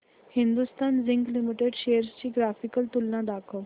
Hindustan Zinc Limited shares ची graphical तुलना दाखव